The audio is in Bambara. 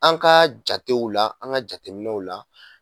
An ka jatew la an ka jateminɛw la